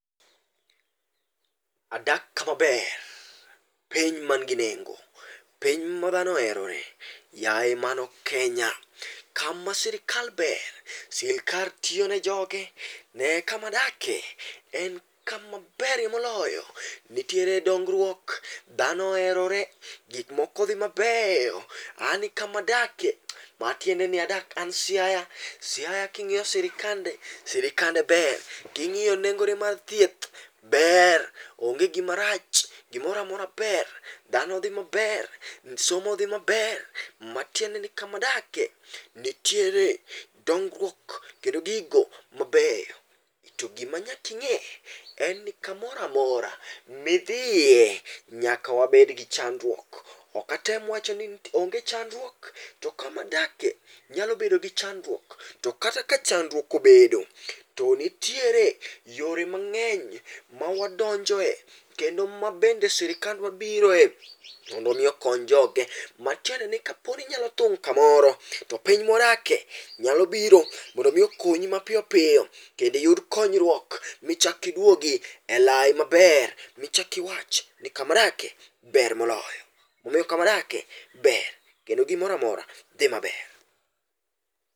Adak kama ber. Piny ma nigi nengo, piny ma dhano oherore. Yaye mano Kenya. Kama sirkal ber. sirkal tiyo ne joge. Nee kama adake, en kama berie moloyo. Nitiere dongruok, dhano oherore, gik moko dhi mabeyo. An kama adakie, matiende ni adak, an Siaya. Siaya kingíyo sirkande, sirikande ber. Kingíyo nengo mar thieth, ber. Onge gima rach, gimoramora ber. Dhano dhi maber, somo dhi maber. Matiende ni kama adake, nitiere dongruok, kendo gigo mabeyo. To gima nyaka ingé, en ni, kamoro amora midhie, nyaka wabed gi chandruok. Okatem wacho ni onge chandruok, to kama adake nyalo bedo gi chandruok, to kata ka chandruok obedo, to nitiere yore mangény mawadonjoe, kendo mabende sirkandwa biroe mondo omi okony joge. Matiende ni kapod inyalo thung' kamoro, to piny mwadake nyalo biro, mondo omi okonyi mapiyopiyo, kendo iyud konyruok, michak iduogi e lai maber, michak iwachi ni kama dake ber moloyo. Omiyo kama dake ber, kendo gimoramora dhi maber.